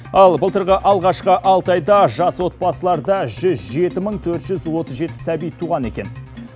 ал былтырғы алғашқы алты айда жас отбасыларда жүз жеті мың төрт жүз отыз жеті сәби туған екен